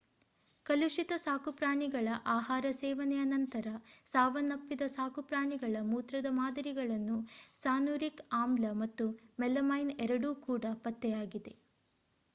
ಕಲುಷಿತ ಸಾಕುಪ್ರಾಣಿಗಳ ಆಹಾರ ಸೇವನೆಯ ನಂತರ ಸಾವನ್ನಪ್ಪಿದ ಸಾಕುಪ್ರಾಣಿಗಳ ಮೂತ್ರದ ಮಾದರಿಗಳಲ್ಲಿ ಸಾನುರಿಕ್ ಆಮ್ಲ ಮತ್ತು ಮೆಲಮೈನ್ ಎರಡೂ ಕೂಡ ಪತ್ತೆಯಾಗಿದೆ